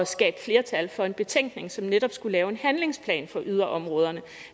skabe flertal for en betænkning som netop skulle lave en handlingsplan for yderområderne